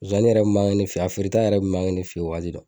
Zonzani yɛrɛ be mange ne fe yen a feereta yɛrɛ be mange ne fe yen